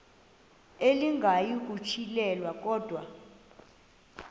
elinga ukuyirintyela kodwa